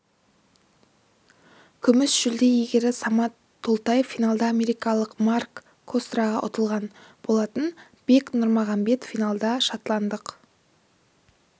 күміс жүлде иегері самат толтаев финалда америкалық марк кастроға ұтылған болатын бек нұрмағанбет финалда шотландық